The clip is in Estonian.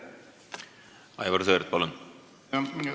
Aivar Sõerd, palun!